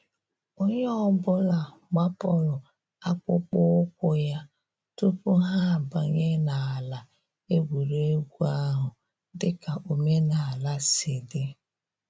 Onye ọ bụla gbapụrụ akpụkpọ ụkwụ ya tupu ha abanye n’ala egwuregwu ahụ, dịka omenala si di